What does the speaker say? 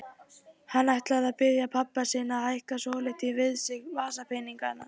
Hann ætlaði að biðja pabba sinn að hækka svolítið við sig vasapeningana.